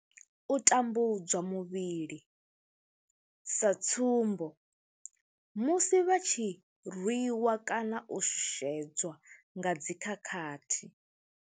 U tambudzwa muvhili, sa tsumbo, musi vha tshi rwi wa kana u shushedzwa nga dzi khakhathi.